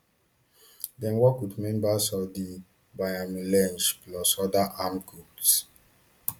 dem work wit members of di banyamulenge plus oda armed groups